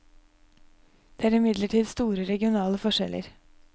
Det er imidlertid store regionale forskjeller.